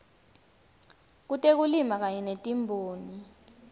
kutekulima kanye netimboni